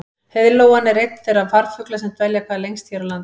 Heiðlóan er einn þeirra farfugla sem dvelja hvað lengst hér á landi.